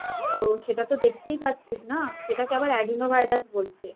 তো সেটাতো দেখতেই পারছিস না। সেটাকে আবার Adenovirus বলছে।